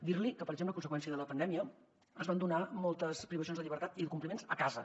dir li que per exemple a conseqüència de la pandèmia es van donar moltes privacions de llibertat i de compliments a casa